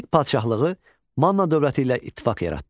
İskit padşahlığı Manna dövləti ilə ittifaq yaratdı.